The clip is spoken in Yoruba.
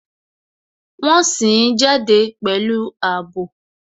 Wọn sìn ín jáde pẹ̀lú àbò